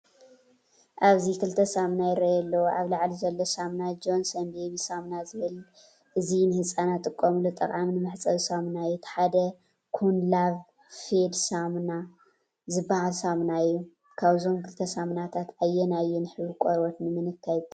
ኣብዚ ክልተ ሳሙና ይራኣዩ ኣለዉ። ኣብ ላዕሊ ዘሎ ሳሙና “ጆነሶን ቤቢ ሳምና” ዝብል እዚ ንህጻናት ዝጥቀሙሉ ጠቓምን መሕጸቢ ሳሙና እዩ። እቲ ሓደ “ኩን ላቭ ፌድ ሳምና” ዝበሃል ሳሙና እዩ። ካብዞም ክልተ ሳሙናታት ኣየናይ እዩ ንሕብሪ ቆርበት ንምንካይ ዝጠቅም?